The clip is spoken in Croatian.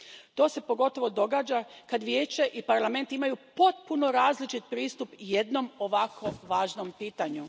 To se pogotovo događa kad Vijeće i Parlament imaju potpuno različit pristup jednom ovako važnom pitanju.